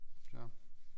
Flere